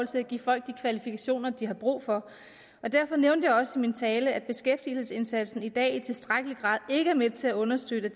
til at give folk de kvalifikationer de har brug for derfor nævnte jeg også i min tale at beskæftigelsesindsatsen i dag ikke i tilstrækkelig grad er med til at understøtte